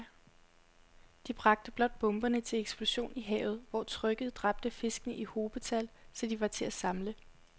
De bragte blot bomberne til eksplosion i havet, hvor trykket dræbte fiskene i hobetal, så de var til at samle